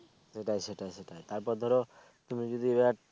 সেটা সেটা সেটা তার পর ধরো তুমি যদি এক